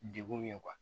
Degun ye